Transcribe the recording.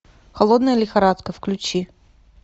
холодная лихорадка включи